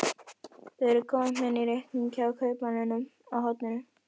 Þau eru komin í reikning hjá kaupmanninum á horninu.